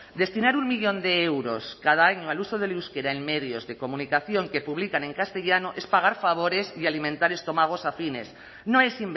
destinar un millón de euros cada año al uso del euskera en medios de comunicación que publican en castellano es pagar favores y alimentar estómagos afines no es